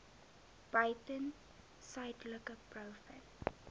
buiten suidelike blouvin